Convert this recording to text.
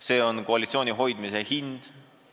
See on koalitsiooni hoidmise hind.